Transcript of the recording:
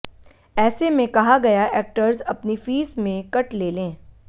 ऐसे में कहा गया एक्टर्स अपनी फीस में कट ले लें